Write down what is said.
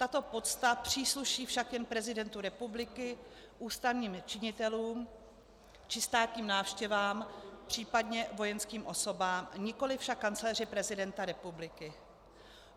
Tato pocta přísluší však jen prezidentu republiky, ústavním činitelům či státním návštěvám, případně vojenským osobám, nikoli však kancléři prezidenta republiky.